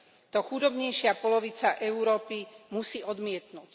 To chudobnejšia polovica Európy musí odmietnuť.